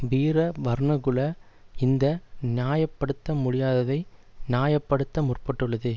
வீர வர்ணகுல இந்த நியாய படுத்த முடியாததை நியாய படுத்த முற்பட்டுள்ளது